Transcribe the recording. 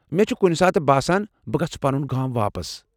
مےٚ چھ کُنہ ساتہٕ باسان بہٕ گژھٕ پنن گام واپس۔